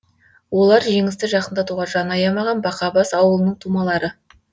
олар жеңісті жақындатуға жан аямаған бақабас ауылының тумалары